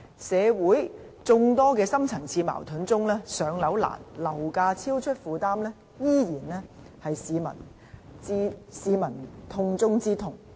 社會眾多深層次矛盾之中，"上樓難"和樓價超出負擔能力仍然是市民的"痛中之痛"。